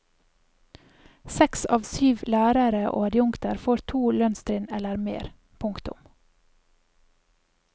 Seks av syv lærere og adjunkter får to lønnstrinn eller mer. punktum